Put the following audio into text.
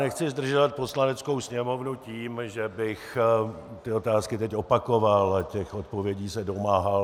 Nechci zdržovat Poslaneckou sněmovnu tím, že bych ty otázky teď opakoval a těch odpovědí se domáhal.